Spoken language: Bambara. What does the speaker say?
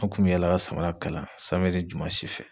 An kun bɛ yaala ka samara kala jumasi fɛ